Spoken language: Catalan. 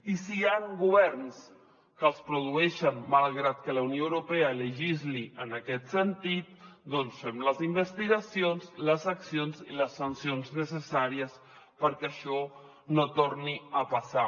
i si hi han governs que els produeixen malgrat que la unió europea legisli en aquest sentit doncs fem les investigacions les accions i les sancions necessàries perquè això no torni a passar